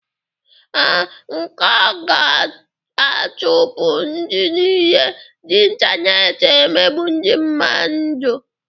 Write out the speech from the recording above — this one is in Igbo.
Ee, a ga-achụpụ ndị nile ji intaneeti emegbu ndị mmadụ.